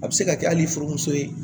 A bɛ se ka kɛ hali furumuso ye